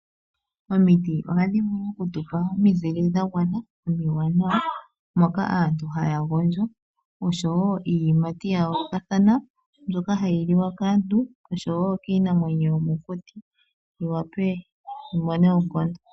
Omiti oha dhi vulu oku tu pa omizile dha gwana omiwanawa, moka aantu ha ya gondjo, osho woo iiyimati ya yoolokathana mbyoka ha yi liwa kaantu osho woo kiinamwenyo yomokuti, yi wape yi mone oonkondo.